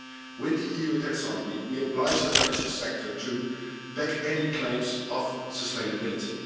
With the EU taxonomy, we obliged the financial sector to back any claims of sustainability.